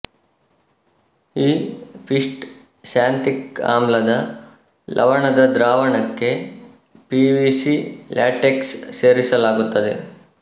ಈ ಪಿಷ್ಟ ಸ್ಯಾಂತಿಕ್ ಆಮ್ಲದ ಲವಣದ ದ್ರಾವಣಕ್ಕೆ ಪಿವಿಸಿ ಲ್ಯಾಟೆಕ್ಸ್ ಸೇರಿಸಲಾಗುತ್ತದೆ